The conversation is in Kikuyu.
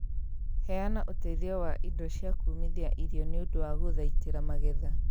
Heana ũteithio wa indo cia kũũmithia irio niũndũ wa gũthaitira magetha